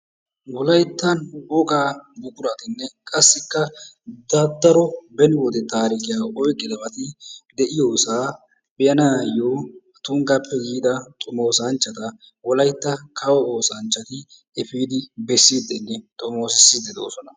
Wolaytta wogaa buquratinne qassikka daro beni wode taarikiya oyqqidabati de'iyosaa be'anaayyo tunggappe yiida xomoosanchchata wolaytta kawo oosanchchati efiidi bessiiddinne xomoosissiiddi doosona.